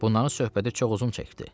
Bunların söhbəti çox uzun çəkdi.